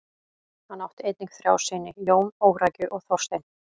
Hann átt einnig þrjá syni: Jón, Órækju og Þorstein.